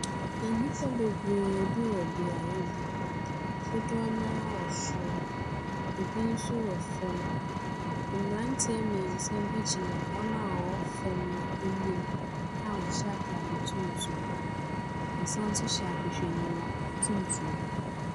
Nnipa bebree bi wɔ beaeɛ bi. Dodoɔ no ara wɔ soro. Ɛbi no wɔ fam. Mmeranteɛ mmeɛnsa bi gyina wɔn a wɔwɔ fam no ani a wɔhyɛ ataade tuntum. Wɔsane nso hyɛ ahwehwɛniwa tuntum.